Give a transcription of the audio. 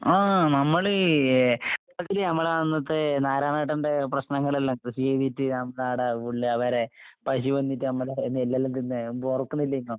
ആഹ് നമ്മള് ഏ അതില് നമ്മളെ അന്നത്തെ നാരായണേട്ടന്റെ പ്രശ്നങ്ങളെല്ലാം കൃഷി ചെയ്തിട്ട് നമ്മടാടെ ഉള്ളവരെ പശു വന്നിട്ട് നമ്മടെ നെല്ലെല്ലാം തിന്ന് മുമ്പോർക്കണില്ലേനോ?